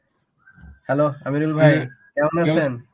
hello Amirul ভাই কেমন আছেন?